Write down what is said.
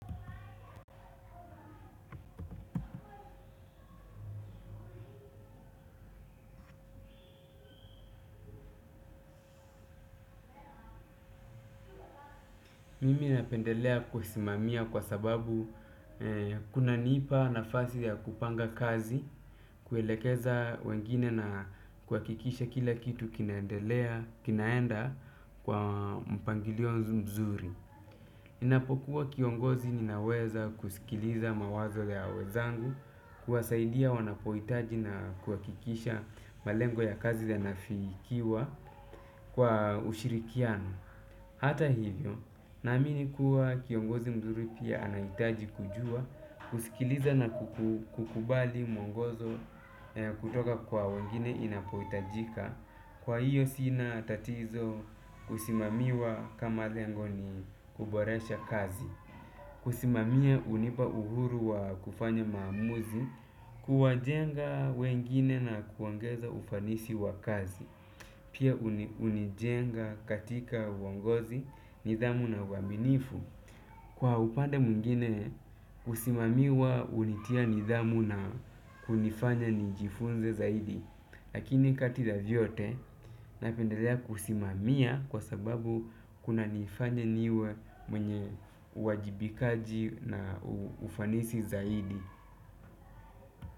Mimi napendelea kusimamia kwa sababu kuna nipa nafasi ya kupanga kazi, kuelekeza wengine na kuhakikisha kila kitu kinaenda kwa mpangilio mzuri. Ninapokuwa kiongozi ninaweza kusikiliza mawazo ya wenzangu, kuwasaidia wanapohitaji na kuhakikisha malengo ya kazi ya nafikiwa kwa ushirikiano. Hata hivyo, naamini kuwa kiongozi mzuri pia anahitaji kujua, kusikiliza na kukubali mwongozo kutoka kwa wengine inapohitajika, kwa hiyo sina tatizo kusimamiwa kama lengo ni kuboresha kazi. Kusimamia unipa uhuru wa kufanya maamuzi, kuwa jenga wengine na kuongeza ufanisi wa kazi. Pia unijenga katika uongozi, nidhamu na waminifu. Kwa upande mwingine, kusimamiwa unitia nidhamu na kunifanya nijifunze zaidi. Lakini kati ya vyote napendelea kusimamia kwa sababu kuna nifanya niwe mwenye uajibikaji na ufanisi zaidi.